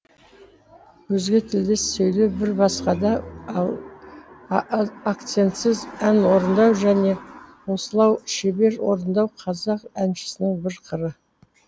өзге тілде сөйлеу бір басқа да ал акцентсіз ән орындау және осылау шебер орындау қазақ әншісінің бір қыры